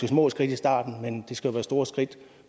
små skridt i starten men det skal jo være store skridt